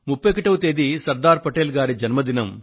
31వ తేదీ సర్దార్ పటేల్ గారి జన్మదినం